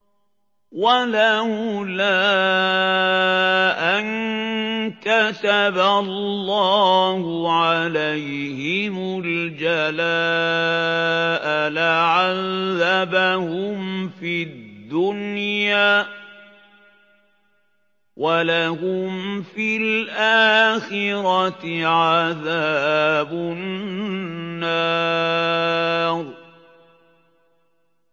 وَلَوْلَا أَن كَتَبَ اللَّهُ عَلَيْهِمُ الْجَلَاءَ لَعَذَّبَهُمْ فِي الدُّنْيَا ۖ وَلَهُمْ فِي الْآخِرَةِ عَذَابُ النَّارِ